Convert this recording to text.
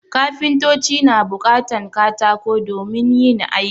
Kafintoci na buƙatan katako domin yin aiki